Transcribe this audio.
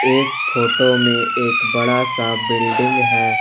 इस फोटो में एक बड़ा सा बिल्डिंग है।